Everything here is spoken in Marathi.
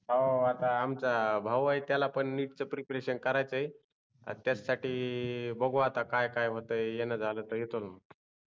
हो आता आमचा भाऊ आहे त्याला पन NEET च प्रिपरेशन करायच आहे त्याच्या साठी बघू आता काय काय होत आहे येण झाल तर येतो मी